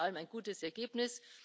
Alles in allem ein gutes Ergebnis.